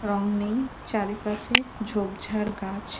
রং নেই চারিপাশে ঝোপঝাড় গাছ।